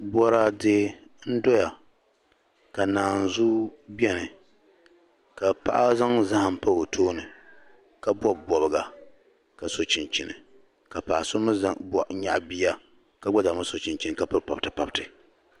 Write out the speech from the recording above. bɔraade n-dɔya ka naanzua beni ka paɣa zaŋ zahim pa o tooni ka bɔbi bɔbiga ka so chinchini ka paɣa so mi nyaɣi bia ka gba zaa mi so chinchini ka piri pabitipabiti